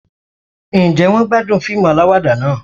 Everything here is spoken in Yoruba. Ǹjẹ́ wọ́n gbádùn fíìmù aláwàdà náà